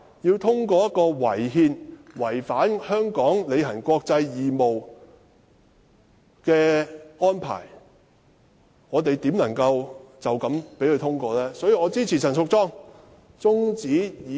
面對這項違憲且違反香港履行國際義務的法案，試問我們怎能隨便通過《條例草案》？